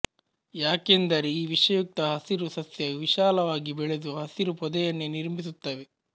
ಯಾಕೆಂದರೆ ಈ ವಿಷಯುಕ್ತ ಹಸಿರು ಸಸ್ಯ ವಿಶಾಲವಾಗಿ ಬೆಳೆದು ಹಸಿರು ಪೊದೆಯನ್ನೇ ನಿರ್ಮಿಸುತ್ತವೆ